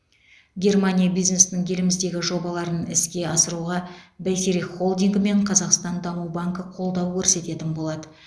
германия бизнесінің еліміздегі жобаларын іске асыруға бәйтерек холдингі мен қазақстан даму банкі қолдау көрсететін болады